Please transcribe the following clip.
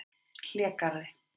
Hlégarði